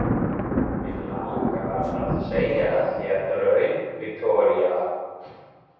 Mig langar að segja þér draum, Viktoría.